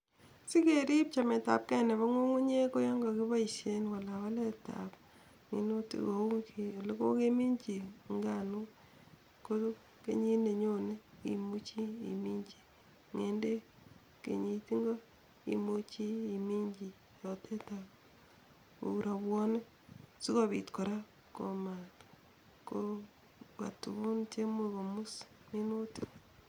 Sikerip chemetabgei nebo ng'ung'unyek koyon kakipoishen walawaletab minutik kou olokokeminchi nganok, ko kenyit nenyone imuchi imininchi ng'endek, kenyit ingo imuchi iinchi rurutik kou rwobonik sikopit kora komakobwa tugun cheimuch konguus minutik.